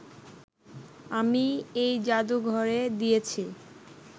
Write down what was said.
আমি এই জাদুঘরে দিয়েছি